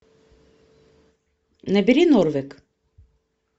набери норвек